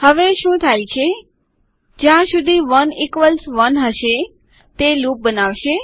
હવે શું થાય છે જ્યાં સુધી 1 1 હશે તે લૂપ બનાવશે